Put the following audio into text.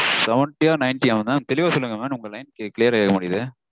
Seventy -ஆ ninety -ஆ mam? தெளிவா சொல்லுங்க mam உங்க line clear -ஆ கேக்கமாடேங்குது